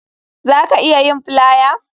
Za ka iya yin flier